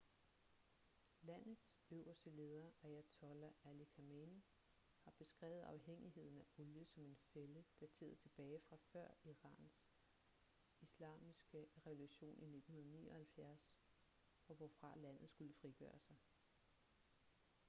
landets øverste leder ayatollah ali khamenei har beskrevet afhængigheden af olie som en fælde dateret tilbage fra før irans islamiske revolution i 1979 og hvorfra landet skulle frigøre sig